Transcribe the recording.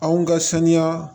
Anw ka saniya